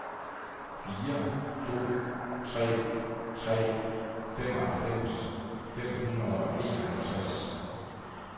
fire to tre tre femoghalvfems fem hundrede og enoghalvtreds